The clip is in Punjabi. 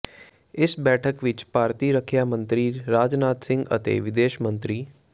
ਇਸ ਬੈਠਕ ਵਿੱਚ ਭਾਰਤੀ ਰੱਖਿਆ ਮੰਤਰੀ ਰਾਜਨਾਥ ਸਿੰਘ ਅਤੇ ਵਿਦੇਸ਼ ਮੰਤਰੀ ਡਾ